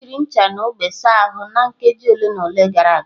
O jiri ncha na ogbo saa ahụ nkeji ole na ole gara aga.